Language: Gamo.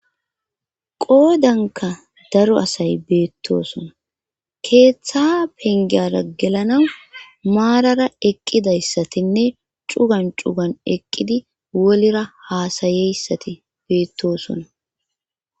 qoodanka daro asay beettosona keeththa pengeyara gelanawu maarara eqqidayssatinne cugan cugan eqqidi wolira haasayeyssati beettosona